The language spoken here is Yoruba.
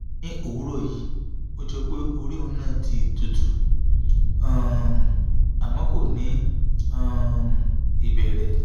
ní òwúrọ̀ yìí ó jọ pé orí òun náà ti tutù um àmọ́ kò ní um ìbẹ̀rẹ̀